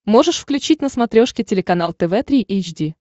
можешь включить на смотрешке телеканал тв три эйч ди